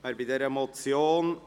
Wer bei dieser Motion,